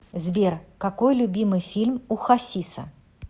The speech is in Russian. сбер какой любимый фильм у хасиса